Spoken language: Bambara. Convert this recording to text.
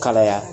Kalaya